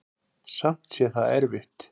Samt sé það erfitt.